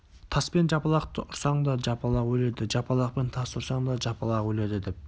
таспен жапалақты ұрсаң да жапалақ өледі жапалақпен тасты ұрсаң да жапалақ өледі деп